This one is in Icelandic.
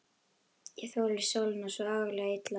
Ég þoli sólina svo agalega illa.